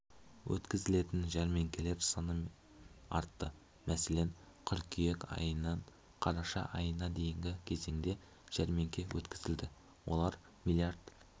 өткізілетін жәрмеңкелер саны артты мәселен қыркүйек айынан қараша айына дейінгі кезеңде жәрмеңке өткізілді оларда млрд